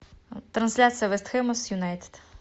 трансляция вест хэма с юнайтед